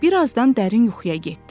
Bir azdan dərin yuxuya getdi.